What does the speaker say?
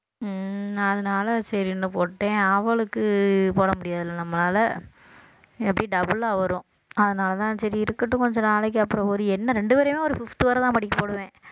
உம் அதனால சரின்னு போட்டேன் அவளுக்கு போட முடியாதுல்ல நம்மளால எப்படியும் double ஆ வரும் அதனாலதான் சரி இருக்கட்டும் கொஞ்ச நாளைக்கு அப்புறம் ஒரு என்ன ரெண்டு பேரையுமே ஒரு fifth வரைதான் படிக்க போடுவேன்